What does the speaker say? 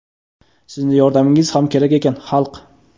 Sizni yordamingiz ham kerak ekan, xalq.